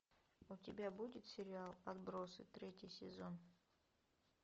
у тебя будет сериал отбросы третий сезон